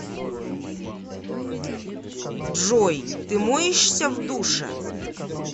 джой ты моешься в душе